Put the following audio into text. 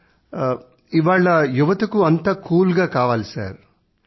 sir ఇవాళ యువతకు అంతా కూల్ గా కావాలి